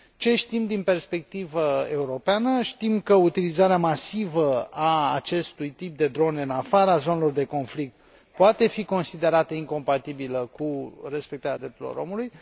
Ce știm din perspectivă europeană știm că utilizarea masivă a acestui tip de drone în afara zonelor de conflict poate fi considerată incompatibilă cu respectarea drepturilor omului.